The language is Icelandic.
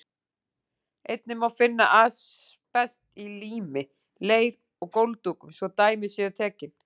Einnig má finna asbest í lími, leir og gólfdúkum, svo dæmi séu tekin.